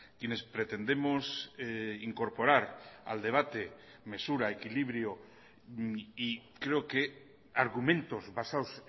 quienes pretendemos incorporar al debate mesura equilibrio y creo que argumentos basados